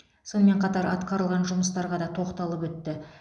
сонымен қатар атқарылған жұмыстарға да тоқталып өтті